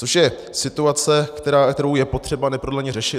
Což je situace, kterou je potřeba neprodleně řešit.